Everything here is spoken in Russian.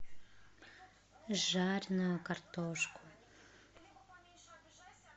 жареную картошку